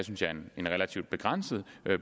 en relativt begrænset